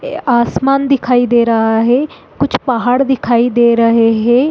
ये आसमान दिखाई दे रहा है कुछ पहाड़ दिखाई दे रहें हैं।